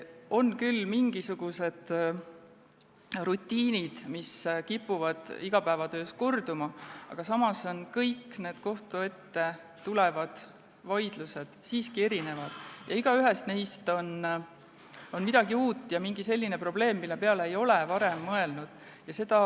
On küll mingisugused rutiinid, mis kipuvad igapäevatöös korduma, aga samas on kõik kohtu ette tulevad vaidlused siiski erinevad, igaühes neis on midagi uut ja mingi selline probleem, mille peale ei ole varem mõelnud.